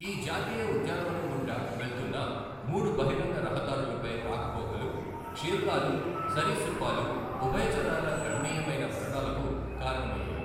ఈ జాతీయ ఉద్యానవనం గుండా వెళుతున్న మూడు బహిరంగ రహదారులపై రాకపోకలు క్షీరదాలు, సరీసృపాలు, ఉభయచరాల గణనీయమైన మరణాలకు కారణమయ్యాయి.